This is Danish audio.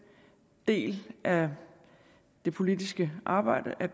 del af det politiske arbejde der